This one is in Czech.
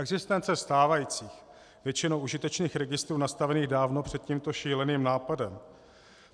Existence stávajících, většinou užitečných registrů nastavených dávno před tímto šíleným nápadem.